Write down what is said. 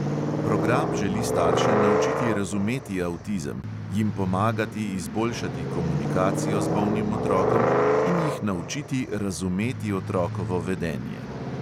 Program želi starše naučiti razumeti avtizem, jim pomagati izboljšati komunikacijo z bolnim otrokom in jih naučiti razumeti otrokovo vedenje.